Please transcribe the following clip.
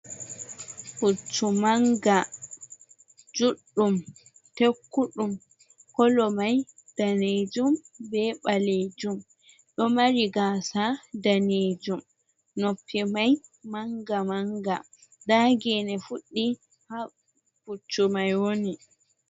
Puccu manga, juɗɗum tekkuɗum, kolo mai danejum be ɓaleejum. Ɗo mari gasa danejum, noppi mai manga-manga. Nda gene fuɗi ha puccu mai woni.